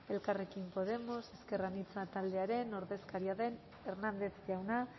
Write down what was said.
elkarrekin podemos ezker anitza taldearen ordezkaria den hernández jauna